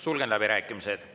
Sulgen läbirääkimised.